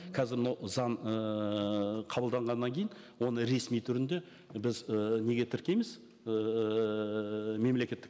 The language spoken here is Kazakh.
қазір мынау заң ыыы қабылданғаннан кейін оны ресми түрінде біз ііі неге тіркейміз ііі мемлекеттік